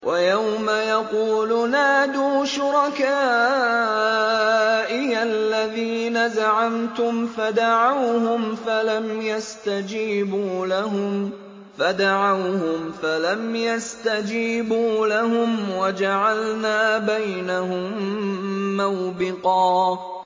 وَيَوْمَ يَقُولُ نَادُوا شُرَكَائِيَ الَّذِينَ زَعَمْتُمْ فَدَعَوْهُمْ فَلَمْ يَسْتَجِيبُوا لَهُمْ وَجَعَلْنَا بَيْنَهُم مَّوْبِقًا